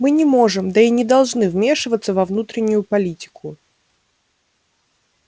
мы не можем да и не должны вмешиваться во внутреннюю политику